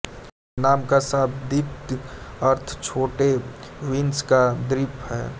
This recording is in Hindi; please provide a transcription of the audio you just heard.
नाम का शाब्दिक अर्थ छोटे बीन्स का द्वीप हैं